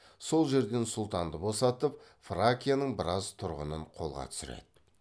сол жерден сұлтанды босатып фракияның біраз тұрғынын қолға түсіреді